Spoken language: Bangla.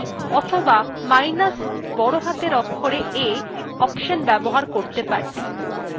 তাহলে আমরা minus e অথবা minus বড় হাতের অক্ষরে a অপশন ব্যবহার করতে পারি